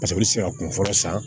Paseke i bɛ se ka kun fɔlɔ san